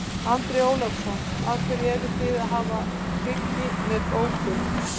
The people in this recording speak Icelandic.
Andri Ólafsson: Af hverju eruð þið að gefa hryggi með bókum?